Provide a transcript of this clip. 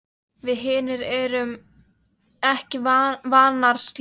Við hinar erum ekki vanar slíku.